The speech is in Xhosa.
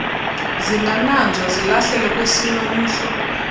zingananzwa zilahlelwe kwesinomhlwa